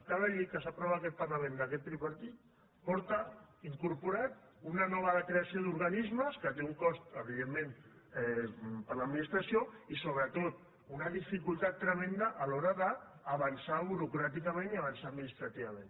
cada llei que s’aprova en aquest parlament d’aquest tripartit porta incorporada una nova creació d’organismes que té un cost evidentment per a l’organització i sobretot una dificultat tremenda a l’hora d’avançar burocràticament i avançar administrativament